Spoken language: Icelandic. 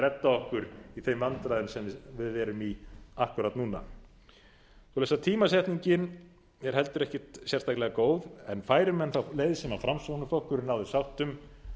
að redda okkur í þeim vandræðum sem við erum í akkúrat núna svoleiðis að tímasetningin er heldur ekkert sérstaklega góð færu menn þá leið sem framsóknarflokkurinn náði sátt um